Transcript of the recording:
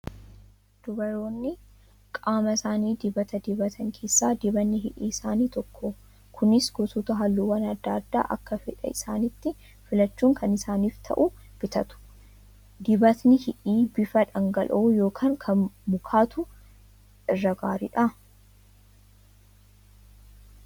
Dubaroonni qaama isaanii dibata dibatan keessaa dibatni hidhii Isa tokkodha. Kunis gosoota Halluuwwan adda addaa Akka fedhaa isaaniitti filachuun kan isaaniif ta'u bitatu. Dibatni hidhii bifa dhangala'oo yookaan kan mukaatu irra gaariidha?